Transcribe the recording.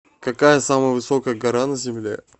какая самая высокая гора на земле